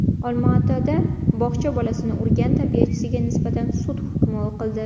Olmaotada bog‘cha bolasini urgan tarbiyachiga nisbatan sud hukmi o‘qildi.